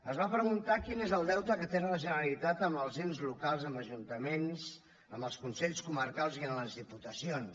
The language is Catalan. es va preguntar quin és el deute que té la generalitat amb els ens locals amb els ajuntaments amb els consells comarcals i amb les diputacions